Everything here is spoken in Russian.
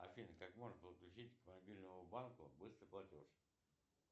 афина как можно подключить к мобильному банку быстрый платеж